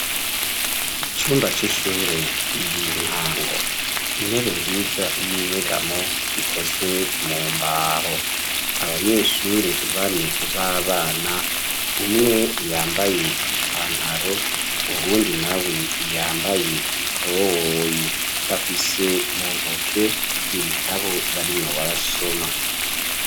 Icumba c'ishure igihe ryintango intebe nziza y'inyegamo ikozwe mu mbaho .Abanyeshuri bane b'abana umwe yambaye ipantaro ubundi na we yambaye ikoboyi bafise mu ntoke ibitabo barimwo barasoma.